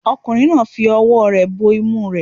Ọkùnrin náà ń fi ọwọ́ rẹ̀ bo imú rẹ̀